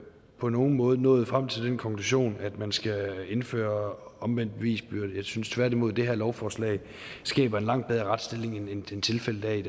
på nogen måde nået frem til den konklusion at man skal indføre omvendt bevisbyrde jeg synes tværtimod at det her lovforslag skaber en langt bedre retsstilling end tilfældet er i